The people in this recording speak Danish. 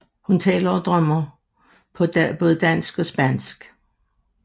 Hun taler og drømmer på både dansk og spansk